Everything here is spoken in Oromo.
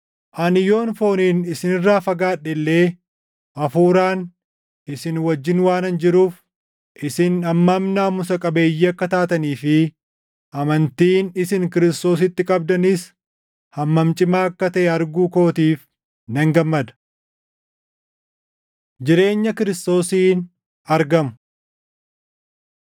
Ani yoon fooniin isin irraa fagaadhe illee hafuuraan isin wajjin waanan jiruuf, isin hammam naamusa qabeeyyii akka taatanii fi amantiin isin Kiristoositti qabdanis hammam cimaa akka taʼe arguu kootiif nan gammada. Jireenya Kiristoosiin Argamu